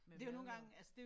Med mad og